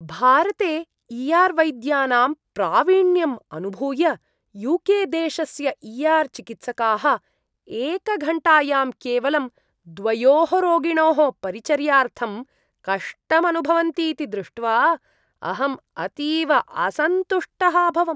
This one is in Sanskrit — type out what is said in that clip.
भारते ई आर् वैद्यानां प्रावीण्यम् अनुभूय, यू के देशस्य ई आर् चिकित्सकाः एकघण्टायां केवलं द्वयोः रोगिणोः परिचर्यार्थं कष्टम् अनुभवन्तीति दृष्ट्वा अहम् अतीव असन्तुष्टः अभवम्।